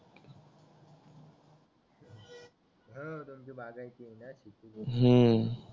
ह तुमची बागायती आहे ना ती